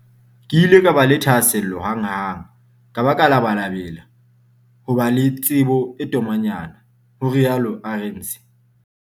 "Ke ile ka ba le thahasello hanghang ka ba ka labalabela ho ba le tsebo e tomanyana," ho rialo Arendse.